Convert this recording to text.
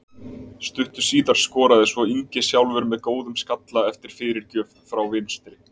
Stuttu síðar skoraði svo Ingi sjálfur með góðum skalla eftir fyrirgjöf frá vinstri.